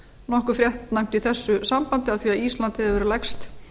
nokkuð fréttnæmt í þessu sambandi af því að ísland hefur verið lægst